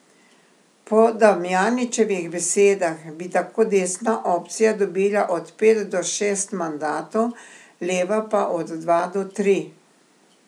Po Damjanićevih besedah bi tako desna opcija dobila od pet do šest mandatov, leva pa od dva do tri.